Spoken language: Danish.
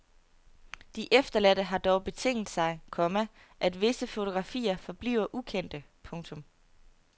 De efterladte har dog betinget sig, komma at visse fotografier forbliver ukendte. punktum